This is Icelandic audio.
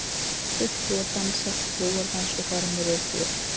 Fulltrúar dansa trúardans og fara með ritúöl.